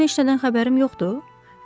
Mənim heç nədən xəbərim yoxdur?